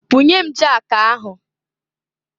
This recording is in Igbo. Bunye m jakụ ahụ!